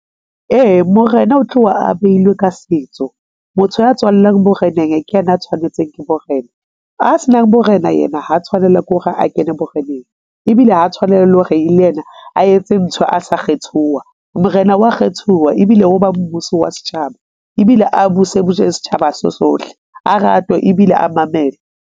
Ee, morena o tloha a behilwe ka setso. Motho ya tswallang boreneng ke yena a tshwanetseng ke borena a se nang borena yena ha a tshwanela ke hore a kene boreneng. Ebile ha tshwanela leo re le yena a etse ntho a sa kgethuwa. Morena wa kgethuwa ebile o ba mmuso wa setjhaba ebile a buse setjhaba se sohle a ratwe ebile a mamele.